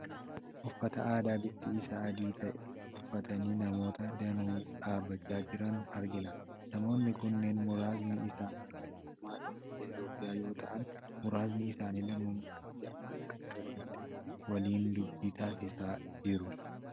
Uffata aadaa bifti isaa adii ta'e uffatanii namoota danuu dhaabachaa jiran argina. Namoonni kunneen muraasni isaanii lammummaadhaan biyya Itoophiyaa yoo ta'an, muraasni isaanii lammummaa biyya laa kan qabanidha. Waliin dubbii taasisaa jiru.